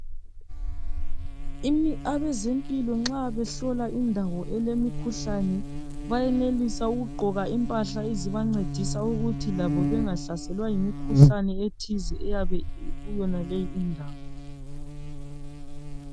abezempilo nxa behlola indawo elemikhuhlane bayenelisa ukugqoka impahla ezibancedisa ukuthi aezempilo nxa behlola indawo elemikhuhlane bayenelisa ukugqoka impahla ezibancedisa ukuthi labo bengahlaselwa yimikhuhlane ethize eyabe ikuyonaleyi indawo